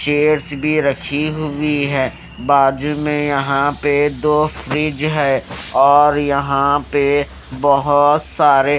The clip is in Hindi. चेयर्स भी रखी हुई है बाजू में यहाँ पे दो फ्रिज और यहाँ पे बहोत सारे --